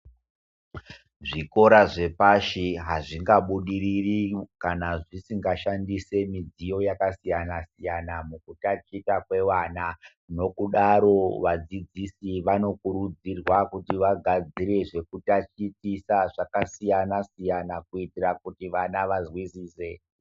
Zvikora zvepashi hazvingabudiriri kana zvisingashandise midziyo yakasiyana-siyana mukutatita kwevana. Nokudaro vadzidzisi vanokurudzirwa kuti vagadzire zvekutatitisa zvakasiyana-siyana kuitira kuti vana vazwisise.